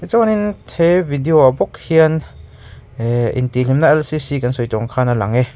chuanin he video ah bawk hian eee intih hlimna lcc a lang e.